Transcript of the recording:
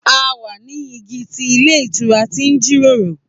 A wa ni igi ti ilé ìtura ti n jiroro.